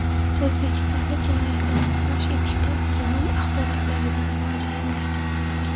O‘zbekistonda jinoyatlarni fosh etishda genom axborotlaridan foydalaniladi.